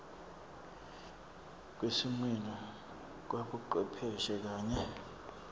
kwesimilo kwabocwepheshe kanye